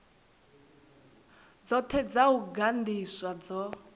dzothe dza u gandiswa dzo